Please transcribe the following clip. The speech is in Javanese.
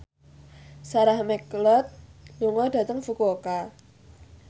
Sarah McLeod lunga dhateng Fukuoka